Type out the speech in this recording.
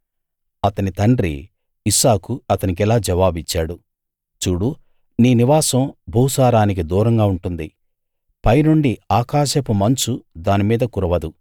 అతని తండ్రి ఇస్సాకు అతనికిలా జవాబిచ్చాడు చూడు నీ నివాసం భూసారానికి దూరంగా ఉంటుంది పైనుండి ఆకాశపు మంచు దాని మీద కురవదు